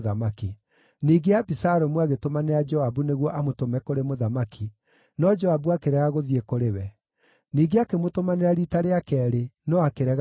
Ningĩ Abisalomu agĩtũmanĩra Joabu nĩguo amũtũme kũrĩ mũthamaki, no Joabu akĩrega gũthiĩ kũrĩ we. Ningĩ akĩmũtũmanĩra riita rĩa keerĩ, no akĩrega gũthiĩ.